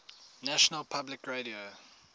national public radio